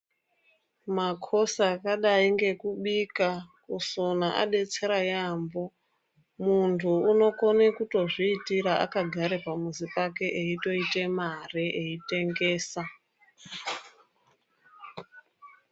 Makosi aka dai ngeku bika kusona abetsere yambo mundu unokone kutozvitira aka gara pamuzi pake eito ite mari eitengesa.